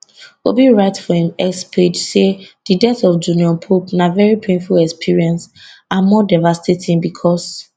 obi write for im x page say di death of junior pope na very painful experience and more devastating becos